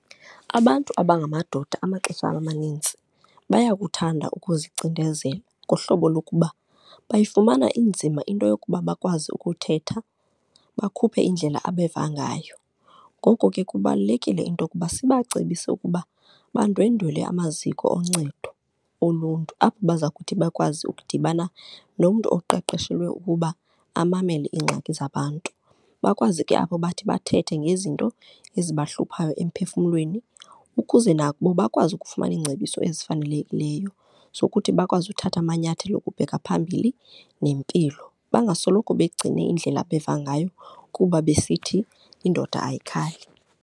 Abantu abangamadoda amaxesha amanintsi bayakuthanda ukuzicinezela ngohlobo yokuba bayifumana inzima into yokuba bakwazi ukuthetha, bakhuphe indlela abeva ngayo. Ngoko ke kubalulekile into yokuba sibacebise ukuba bandwendwele amaziko oncedo oluntu, apho bazakuthi bakwazi ukudibana nomntu oqeqeshelwe ukuba amamele iingxaki zabantu. Bakwazi ke apho bathi bathethe ngezinto ezibahluphayo emiphefumlweni ukuze nabo bakwazi ukufumana iingcebiso ezifanelekileyo zokuthi bakwazi uthatha amanyathelo ukubheka phambili nempilo, bangasoloko begcine indlela abeva ngayo kuba besithi indoda ayikhali.